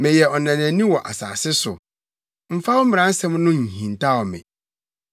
Meyɛ ɔnanani wɔ asase so; mfa wo mmaransɛm no nhintaw me.